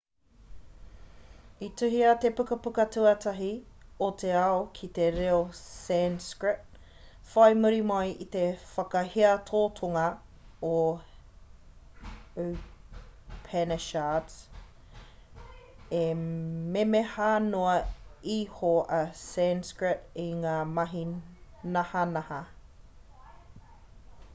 i tuhia te pukapuka tuatahi o te ao ki te reo sanskrit whai muri mai i te whakahiatotanga o upanishards e memeha noa iho a sanskrit i ngā mahi nahanaha